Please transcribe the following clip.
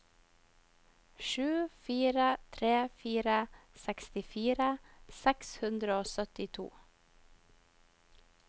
sju fire tre fire sekstifire seks hundre og syttito